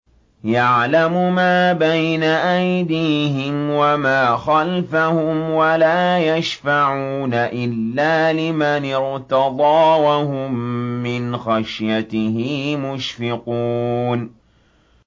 يَعْلَمُ مَا بَيْنَ أَيْدِيهِمْ وَمَا خَلْفَهُمْ وَلَا يَشْفَعُونَ إِلَّا لِمَنِ ارْتَضَىٰ وَهُم مِّنْ خَشْيَتِهِ مُشْفِقُونَ